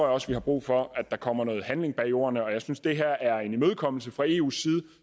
også vi har brug for at der kommer noget handling bag ordene og jeg synes det her er en imødekommelse fra eus